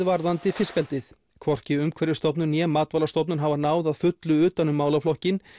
varðandi fiskeldið hvorki Umhverfisstofnun né Matvælastofnun hafa náð að fullu utan um málaflokkinn